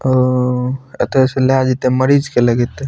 ओउ एता से ला जेते मरीज के लगेते।